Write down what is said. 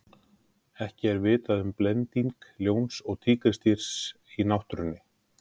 Ekki er vitað um blending ljóns og tígrisdýrs í náttúrunni.